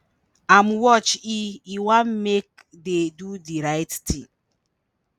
im watch he he wan make dey do di right tin.